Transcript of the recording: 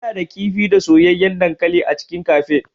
Ina da kifi da soyayyen dankali a cikin cafe.